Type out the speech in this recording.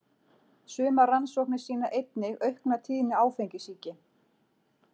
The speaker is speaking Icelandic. Sumar rannsóknir sýna einnig aukna tíðni áfengissýki.